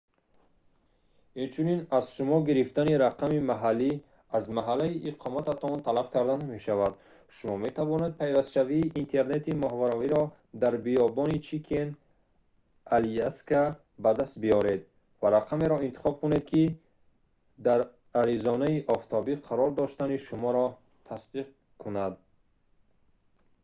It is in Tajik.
инчунин аз шумо гирифтани рақами маҳаллӣ аз маҳали иқомататон талаб карда намешавад шумо метавонед пайвастшавии интернети моҳвораиро дар биёбони чикен аляска ба даст биёред ва рақамеро интихоб кунед ки дар аризонаи офтобӣ қарор доштани шуморо тасдиқ кунад